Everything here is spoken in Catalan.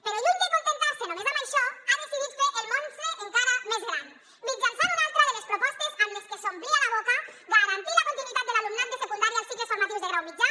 però lluny d’acontentar se només amb això ha decidit fer el monstre encara més gran mitjançant una altra de les propostes amb les que s’omplia la boca la de garantir la continuïtat de l’alumnat de secundària als cicles formatius de grau mitjà